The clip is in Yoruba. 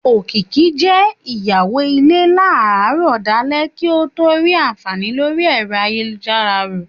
Òkìkí je ìyàwó ilé láràárò dálé kí ọ tó rí àǹfàní lórí ẹ̀rọ ayélujára rọ